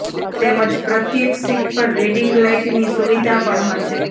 તેમજ પ્રત્યેક સીટ પર રીડિંગ લાઇટની સુવિધા પણ હશે